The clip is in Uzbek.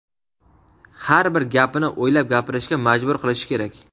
har bir gapini o‘ylab gapirishga majbur qilishi kerak.